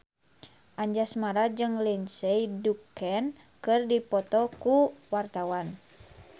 Anjasmara jeung Lindsay Ducan keur dipoto ku wartawan